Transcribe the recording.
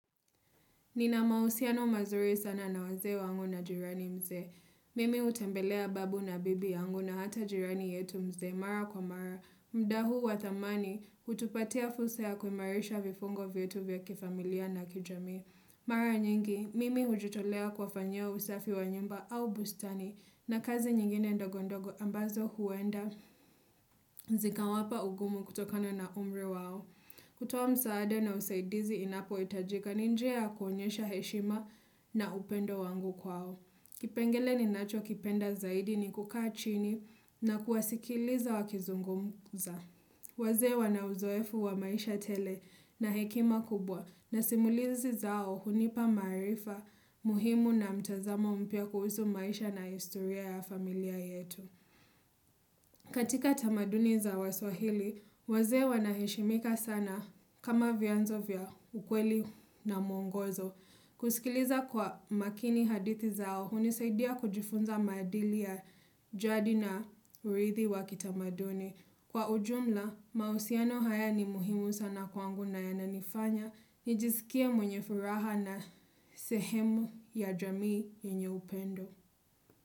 Nina mahusiano mazuri sana na wazee wangu na jirani mzee. Mimi utembelea babu na bibi yangu na hata jirani yetu mzee. Mara kwa mara, mda huu wa dhamani, hutupatia fursa ya kuimarisha vifungo vyetu vya kifamilia na kijamii. Mara nyingi, mimi hujitolea kuwafanyia usafi wa nyumba au bustani na kazi nyingine ndogondogo ambazo huenda zika wapa ugumu kutokano na umri wao. Kutoa msaada na usaidizi inapo itajika n injia ya kuonyesha heshima na upendo wangu kwao. Kipengele ni nacho kipenda zaidi ni kukaa chini na kuwasikiliza wakizungumuza. Wazee wanauzoefu wa maisha tele na hekima kubwa na simulizi zao hunipa maarifa muhimu na mtazamo mpya kuhusu maisha na historia ya familia yetu. Katika tamaduni za waswahili, wazee wanaheshimika sana kama vyanzo vya ukweli na muongozo. Kusikiliza kwa makini hadithi zao hunisaidia kujifunza maadili ya jadi na urithi wa kitamaduni. Kwa ujumla, mahusiano haya ni muhimu sana kwangu na yananifanya, nijisikie mwenye furaha na sehemu ya jamii yenye upendo.